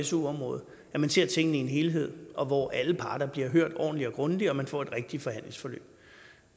su området at man ser tingene i en helhed og hvor alle parter bliver hørt ordentligt og grundigt og man får et rigtigt forhandlingsforløb